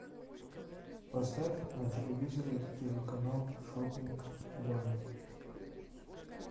поставь на телевизоре телеканал шоппинг лайф